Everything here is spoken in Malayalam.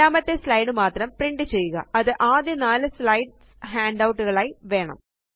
രണ്ടാമത്തെ സ്ലൈഡ് മാത്രം പ്രിന്റ് ചെയ്യുക അതും ആദ്യ നാല് സ്ലൈഡ്സ് ഹാൻഡൌട്ട് കളായി വേണം